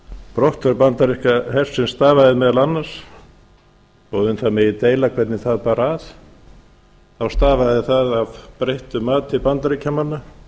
brottför bandaríska hersins stafaði meðal annars þó um það megi deila hvernig það bar að þá stafaði það af breyttu mati bandaríkjamanna